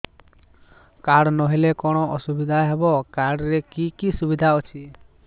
card ନହେଲେ କଣ ଅସୁବିଧା ହେବ କାର୍ଡ ରେ କି କି ସୁବିଧା ଅଛି